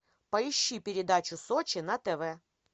поищи передачу сочи на тв